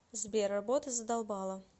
сбер работа задолбала